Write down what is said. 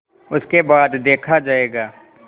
उसके बाद देखा जायगा